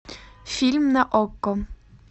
фильм на окко